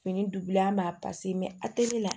Fini dugu la ma a tɛ ne la